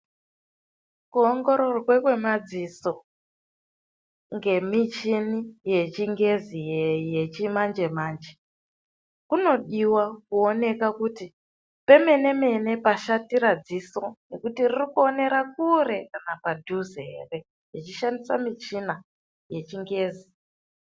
Kuongororwa kwemadziso ngemichini yechingezi yechimanje-manje, kunodiwa kuonekwa kuti pemene mene pashatira dziso, nekuti riri kuonera kure kana padhuze ere, tichishandisa michina yechingezi.